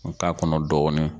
N k'a kɔnɔ dɔɔni.